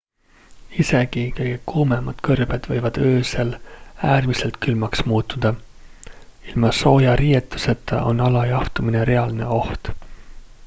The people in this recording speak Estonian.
isegi kõige kuumemad kõrbed võivad öösel äärmiselt külmaks muutuda ilma sooja riietuseta on alajahtumine reaalne oht